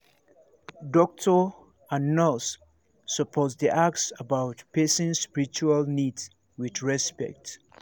doctor and nurse suppose dey ask about person spiritual needs with respect